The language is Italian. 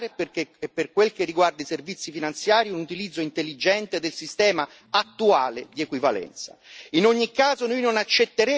Altra cosa è la cooperazione regolamentare, e per quel che riguarda i servizi finanziari, un utilizzo intelligente del sistema attuale di equivalenza.